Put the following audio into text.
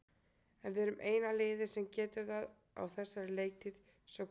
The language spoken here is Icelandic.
En við erum eina liðið sem getur það á þessari leiktíð, svo hver veit?